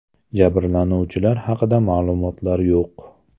Jabrlanuvchilar haqida ma’lumotlar yo‘q.